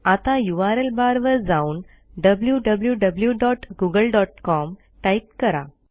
आता यूआरएल बारवर जाऊन wwwgooglecom टाईप करा